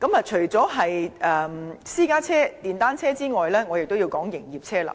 除了私家車和電單車外，我也要談及營業車輛。